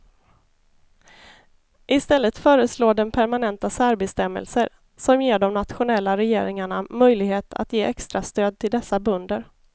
I stället föreslår den permanenta särbestämmelser, som ger de nationella regeringarna möjlighet att ge extrastöd till dessa bönder.